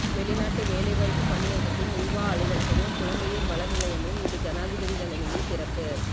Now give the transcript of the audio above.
வெளிநாட்டு வேலைவாய்ப்பு பணியகத்தின் ஊவா அலுவலகமும் புலம்பெயர் வள நிலையமும் இன்று ஜனாதிபதி தலைமையில் திறப்பு